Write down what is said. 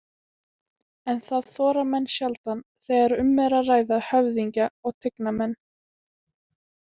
En það þora menn sjaldan þegar um er að ræða höfðingja og tignarmenn.